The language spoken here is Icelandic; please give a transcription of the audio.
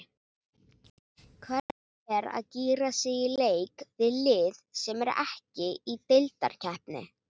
Hvernig er að gíra sig í leik við lið sem er ekki í deildarkeppni?